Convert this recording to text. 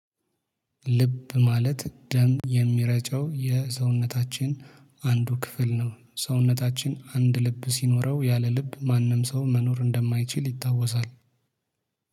ልብ ማለት ደም የሚረጨው የሰውነታችን አንዱ ክፍል ነው። ሰውነታችን አንድ ልብ ሲኖረው ያለ ልብ ማንም ሰው መኖር እንደማይችል ይታወሳል።